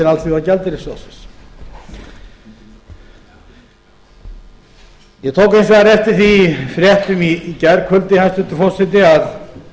alþjóðagjaldeyrissjóðsins ég tók hins vegar eftir því í fréttum í gærkvöldi hæstvirtur forseti að